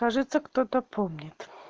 кажется кто-то помнит